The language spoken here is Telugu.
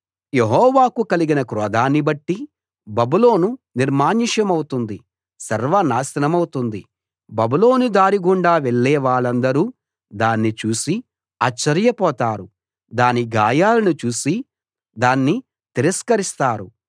యెహోవాకు కలిగిన క్రోధాన్ని బట్టి బబులోను నిర్మానుష్యమవుతుంది సర్వనాశనమవుతుంది బబులోను దారి గుండా వెళ్ళే వాళ్ళందరూ దాన్ని చూసి ఆశ్చర్యపోతారు దాని గాయాలను చూసి దాన్ని తిరస్కరిస్తారు